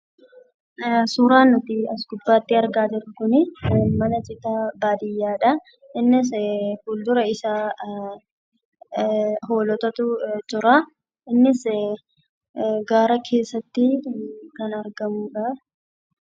Suuraan nuti as gubbaatti argaa jirru kunii, mana citaa baadiyaadha. Innis fuldura isaa hoolotatu jiraa. Innis gaara keessatti kan argamudhaa